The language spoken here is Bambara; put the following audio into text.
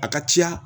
A ka ca